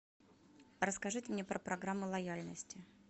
расскажите мне про программы лояльности